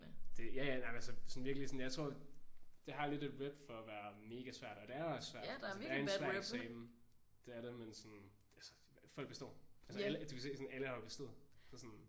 Det ja ja nej men altså sådan virkelig jeg tror det har lidt et rep for at være mega svært og det er også svært. Altså det er en svært eksamen. Det er det. Men sådan altså folk består. Altså alle du kan se alle har bestået så sådan